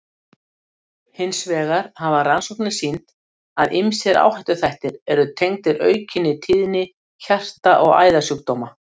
Hins vegar hafa rannsóknirnar sýnt, að ýmsir áhættuþættir eru tengdir aukinni tíðni hjarta- og æðasjúkdóma.